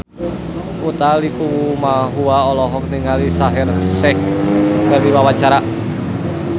Utha Likumahua olohok ningali Shaheer Sheikh keur diwawancara